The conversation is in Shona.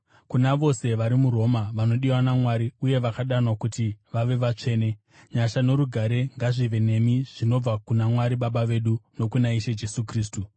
Kuna vose vari muRoma vanodiwa naMwari uye vakadanwa kuti vave vatsvene: Nyasha norugare ngazvive nemi zvinobva kuna Mwari Baba vedu, nokuna Ishe Jesu Kristu.